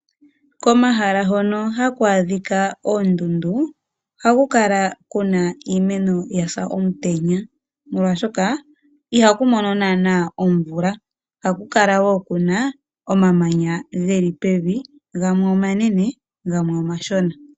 Komahala hono haku adhika oondundu oha ku kala kuna iimeno ya sa omutenya, molwaashoka ihaku mono naana omvula. Ohaku kala woo kuna omamanya geli pevi gamwe omanene gamwe omashona.